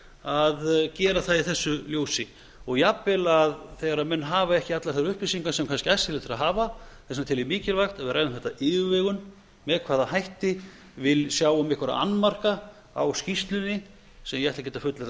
að gera það í þessu ljósi og jafnvel þegar menn hafa ekki allar þær upplýsingar sem kannski æskilegt er að hafa þess vegna tel ég mikilvægt ef við ræðum þetta af yfirvegun með hvaða hætti við sjáum einhverja annmarka á skýrslunni se ég ætla ekkert að fullyrða að séu